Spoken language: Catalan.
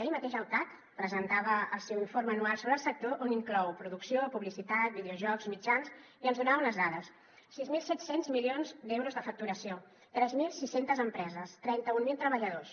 ahir mateix el cac presentava el seu informe anual sobre el sector on inclou producció publicitat videojocs mitjans i ens en donava unes dades sis mil set cents milions d’euros de facturació tres mil sis cents empreses trenta mil treballadors